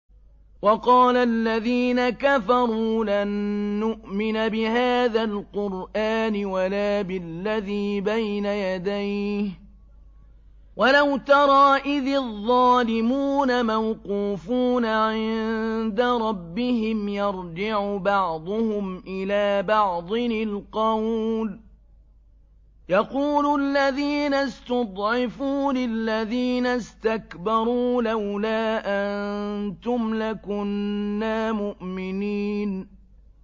وَقَالَ الَّذِينَ كَفَرُوا لَن نُّؤْمِنَ بِهَٰذَا الْقُرْآنِ وَلَا بِالَّذِي بَيْنَ يَدَيْهِ ۗ وَلَوْ تَرَىٰ إِذِ الظَّالِمُونَ مَوْقُوفُونَ عِندَ رَبِّهِمْ يَرْجِعُ بَعْضُهُمْ إِلَىٰ بَعْضٍ الْقَوْلَ يَقُولُ الَّذِينَ اسْتُضْعِفُوا لِلَّذِينَ اسْتَكْبَرُوا لَوْلَا أَنتُمْ لَكُنَّا مُؤْمِنِينَ